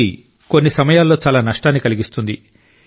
ఇది కొన్ని సమయాల్లో చాలా నష్టాన్ని కలిగిస్తుంది